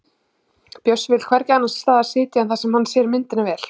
Bjössi vill hvergi annars staðar sitja en þar sem hann sér myndina vel.